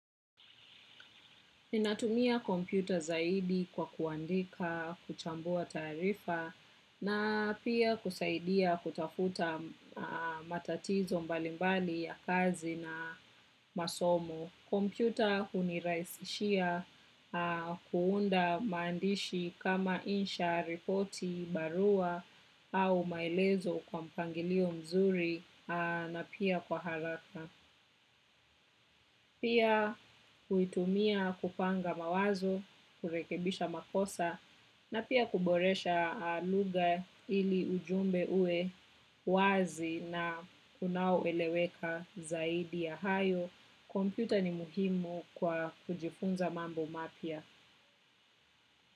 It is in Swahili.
Ninatumia kompyuta zaidi kwa kuandika kuchambua taarifa na pia kusaidia kutafuta matatizo mbalimbali ya kazi na masomo. Kompyuta hunirahisishia kuunda maandishi kama insha, ripoti, barua au maelezo kwa mpangilio mzuri na pia kwa haraka. Pia huitumia kupanga mawazo, kurekebisha makosa, na pia kuboresha lugha ili ujumbe uwe wazi na unao eleweka zaidi ya hayo. Kompyuta ni muhimu kwa kujifunza mambo mapya.